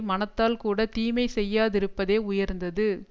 மனத்தால் கூட தீமையை செய்யா திருப்பதே உயர்ந்தது